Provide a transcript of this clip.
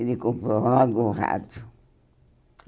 Ele comprou logo o rádio.